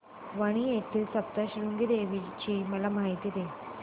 वणी येथील सप्तशृंगी देवी ची मला माहिती दे